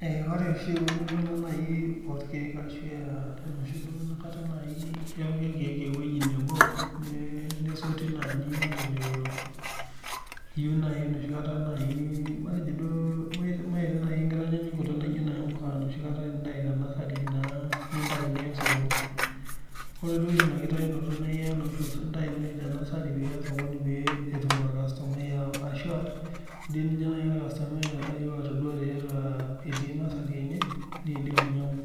Ore oshi eunoto nai orkiek ashu enoshi duo inakata nai epiki irkiek ewuei nebo nesoti naaji matejo iyeu naii noshi kata naii metejo duo enoshi kata ieta impuka naa nintayu niya esokoni, ore doi oshi ina kitayunoto niyaa naa oshi intae te nasari piiya osokoni pee etum ilkastumai ashu dei nijye ilkastumai aeu atodua tiatua etii nasari enye neidim ainyang'u.